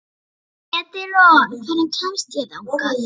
Edilon, hvernig kemst ég þangað?